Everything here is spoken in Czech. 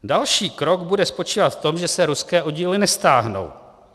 "Další krok bude spočívat v tom, že se ruské oddíly nestáhnou.